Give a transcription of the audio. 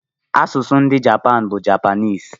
Asụsụ ndị Japan bụ Japanịịs.